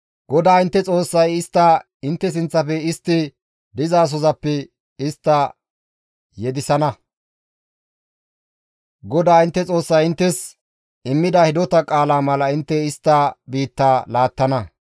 GODAA intte Xoossay istta intte sinththafe istti dizasozappe istta yedeththana; GODAA intte Xoossay inttes immida hidota qaala mala intte istta biitta laattana.